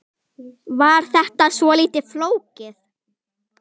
Var þetta svolítið flókið?